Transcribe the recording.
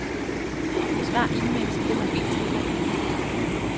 Besvar e-mails via mobiltelefon.